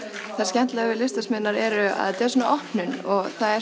það skemmtilega við er að þetta er svona opnun og það er